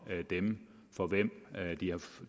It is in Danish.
dem